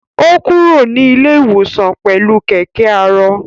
Ó kúrò ní ilé-ìwòsàn pẹlú kẹkẹ aarọ